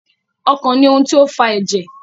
Ọkàn ní ohùn tí o fà èjè.